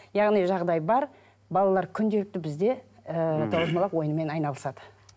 яғни жағдай бар балалар күнделікті бізде ы тоғызқұмалақ ойынымен айналысады